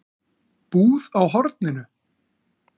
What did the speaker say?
Búð á horninu?